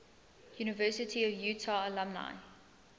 university of utah alumni